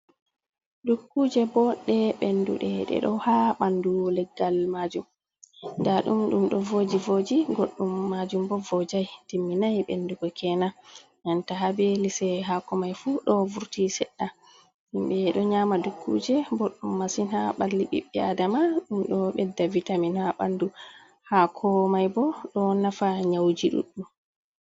Dukkuuje, bo ɗe ɓennduɗe, ɗe ɗo haa ɓanndu leggal maajum, nda ɗum ɗo ɗon vooji-vooji, goɗɗum maajum bo voojay, timminay ɓenndugo keenan, banta haa be lise haako may fuu ɗo vurti seɗɗa himɓe ɗo nyaama dukkuuje, boɗɗum masin, haa ɓalli ɓiɓɓe aadama, ɗum ɗo ɓedda vitamin haa ɓanndu, haako may bo ɗo nafa nyawuuji ɗuuɗɗum.